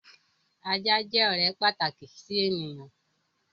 Ajá jẹ́ ọ̀rẹ́ pàtàkì sí ènìyàn.